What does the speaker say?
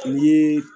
Ni